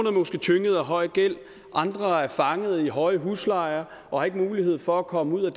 er måske tynget af høj gæld andre er fanget i høje huslejer og har ikke mulighed for at komme ud af